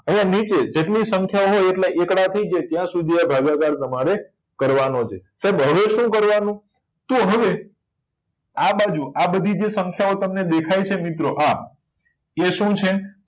અહિયાં નીચે જેટલી સંખ્યા ઓ હોય એટલા એકડા થી જ ત્યાં સુધી જ આ ભાગાકાર તમારે કરવા નો છે સાહેબ હવે શું કરવા નું તો હવે આ બાજુ આ બધી જે સંખ્યા ઓ તમને દેખાય છે મિત્રો હા એ શું છે